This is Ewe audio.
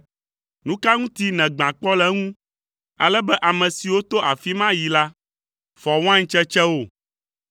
Nu ka ŋuti nègbã kpɔ le eŋu, ale be ame siwo to afi ma yi la fɔ wain tsetsewo?